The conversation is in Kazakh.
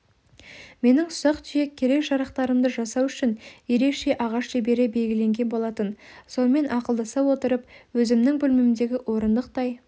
менің ұсақ-түйек керек-жарақтарымды жасау үшін ерекше ағаш шебері белгіленген болатын сонымен ақылдаса отырып өзімнің бөлмемдегі орындықтай